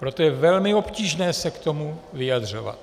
Proto je velmi obtížné se k tomu vyjadřovat.